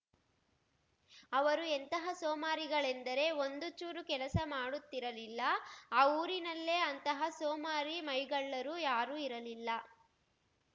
ಅವರು ಎಂತಹ ಸೋಮಾರಿಗಳೆಂದರೆ ಒಂದು ಚೂರೂ ಕೆಲಸ ಮಾಡುತ್ತಿರಲಿಲ್ಲ ಆ ಊರಿನಲ್ಲೇ ಅಂತಹ ಸೋಮಾರಿ ಮೈಗಳ್ಳರು ಯಾರೂ ಇರಲಿಲ್ಲ